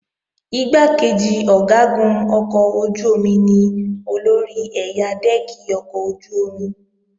Igbákejì Ọ̀gágun ọkọ̀ ojú-omi ni olórí ẹ̀yà dẹ́ẹ̀kì ọkọ̀ ojú-omi